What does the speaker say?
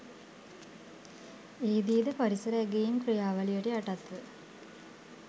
එහිදී ද පරිසර ඇගැයීම් ක්‍රියාවලියට යටත්ව